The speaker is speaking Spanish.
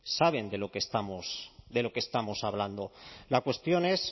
saben de lo que estamos hablando la cuestión es